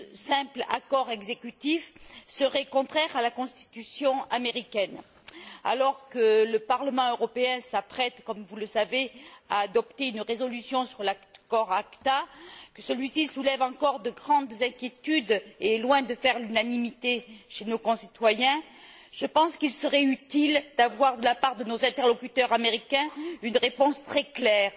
simple accord exécutif, serait contraire à la constitution américaine. Alors que le Parlement européen s'apprête, comme vous le savez, à adopter une résolution sur l'accord ACTA, que celui ci soulève encore de grandes inquiétudes et est loin de faire l'unanimité chez nos concitoyens, je pense qu'il serait utile d'avoir, de la part de nos interlocuteurs américains, une réponse très claire